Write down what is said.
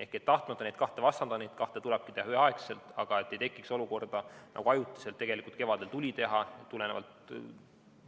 Ma ei taha neid kahte vastandada, neid tulebki teha üheaegselt, ei tohiks tekkida olukorda, nagu ajutiselt tegelikult kevadel tekkis, kui tulenevalt